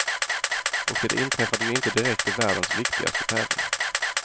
Och det inträffade ju inte direkt i världens viktigaste tävling.